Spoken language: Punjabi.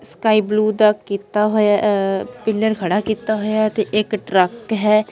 ਸਕਾਈ ਬਲੂ ਤਕ ਕਿੱਤਾ ਹੋਇਆ ਅ ਪਿੱਲਰ ਖੜਾ ਕਿੱਤਾ ਹੋਇਆ ਹੈ ਤੇ ਇੱਕ ਟਰੱਕ ਹੈ।